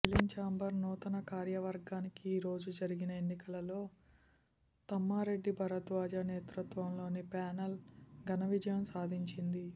film chamber నూతన కార్యవర్గానికి ఈరోజు జరిగిన ఎన్నికలలో తమ్మారెడ్డి భరద్వాజ నేతృత్వంలోని ప్యానెల్ ఘనవిజయం సాధించింది